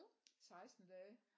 16 dage